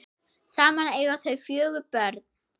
Saman eiga þau fjögur börn.